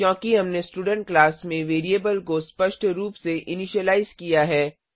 क्योंकि हमने student class में वेरिएबल को स्पष्ट रुप से इनीशिलाइज किया है